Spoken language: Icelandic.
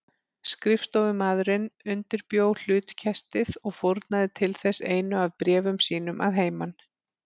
Skrifstofumaðurinn undirbjó hlutkestið og fórnaði til þess einu af bréfum sínum að heiman.